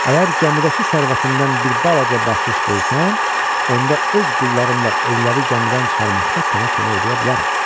Əgər gəmidəki sərvətindən bir balaca bəxşiş versən, onda öz qullarımla ölüləri gəmidən çıxarmaqda sənə kömək eləyə bilərəm.